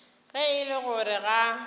ge e le gore ga